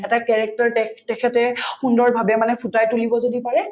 এটা character তেখ‍ তেখেতে সুন্দৰভাৱে মানে ফুটাই তুলিব যদি পাৰে